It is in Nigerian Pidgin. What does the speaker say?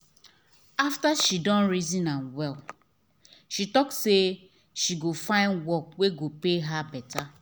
after she reason am well she talk say she go find work wey go pay her better.